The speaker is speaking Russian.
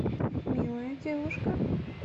милая девушка